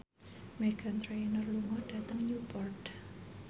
Meghan Trainor lunga dhateng Newport